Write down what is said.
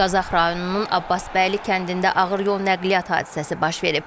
Qazax rayonunun Abbasbəyli kəndində ağır yol nəqliyyat hadisəsi baş verib.